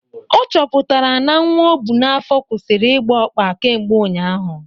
Ọ chọpụtara n'nwa ọbụ n'afọ kwusịrị ịgba ọkpa kemgbe ụnyaahụ